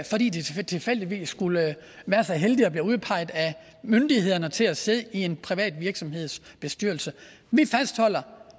fordi de tilfældigvis skulle være så heldige at blive udpeget af myndighederne til at sidde i en privat virksomheds bestyrelse vi fastholder